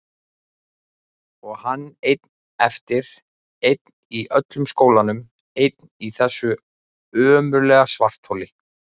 Og hann einn eftir, einn í öllum skólanum, einn í þessu ömurlega svartholi!